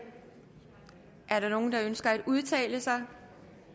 er der nogen der ønsker at udtale sig